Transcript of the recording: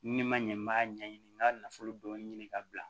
Ni n ma ɲɛ n b'a ɲɛɲini n ka nafolo dɔɔnin ɲini ka bila